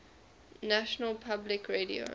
national public radio